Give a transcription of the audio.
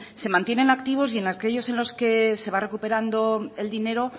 se mantienen activos y en aquellos en los que se va recuperando el dinero